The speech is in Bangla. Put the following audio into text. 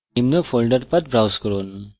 নিম্ন folder path browse করুন